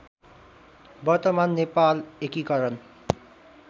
वर्तमान नेपाल एकीकरण